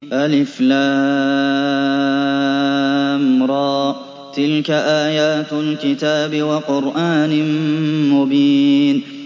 الر ۚ تِلْكَ آيَاتُ الْكِتَابِ وَقُرْآنٍ مُّبِينٍ